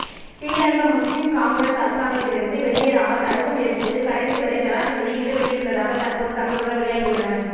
ஸ்ரீலங்கா முஸ்லிம் காங்கிரஸ் அரசாங்கத்திலிருந்து வெளியேறாமல் தடுக்கும் முயற்சிகளில் கடைசிவரை ஜனாதிபதி ஈடுபட்டிருந்ததாக தற்போது தகவல்கள் வெளியாகியுள்ளன